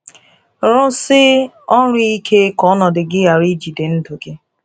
Rụọsi ọrụ ike ka ọnọdụ gị ghara ijide ndụ gị.